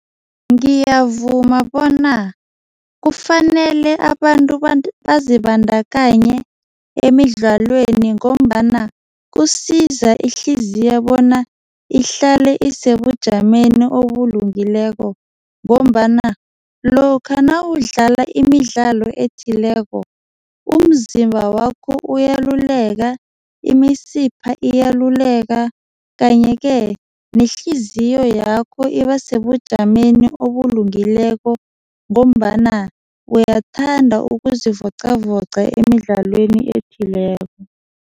Ngiyavuma bona kufanele abantu bazibandakanye emidlalweni ngombana kusiza ihliziyo bona ihlale isebujameni obulungileko ngombana lokha nawudlala imidlalo ethileko umzimba wakho uyaluleka, imisipha iyaluleka kanye-ke, nehliziyo yakho iba sebujameni obulungileko ngombana uyathanda ukuzivoqavoqa emidlalweni ethileko.